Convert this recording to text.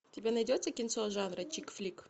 у тебя найдется кинцо жанра чик флик